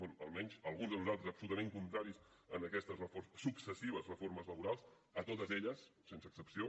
bé almenys alguns de nosaltres absolutament contraris a aquestes successives reformes laborals a totes elles sense excepció